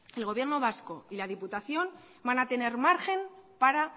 el gobierno vasco y la diputación van a tener margen para